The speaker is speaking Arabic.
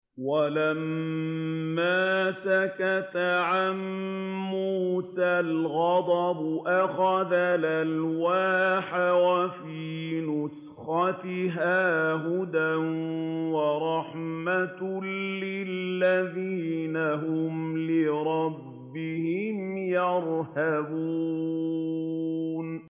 وَلَمَّا سَكَتَ عَن مُّوسَى الْغَضَبُ أَخَذَ الْأَلْوَاحَ ۖ وَفِي نُسْخَتِهَا هُدًى وَرَحْمَةٌ لِّلَّذِينَ هُمْ لِرَبِّهِمْ يَرْهَبُونَ